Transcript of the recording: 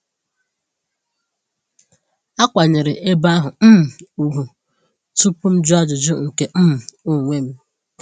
Akwanyeere ebe ahụ um ugwu tupu m jụọ ajụjụ nke um onwe m.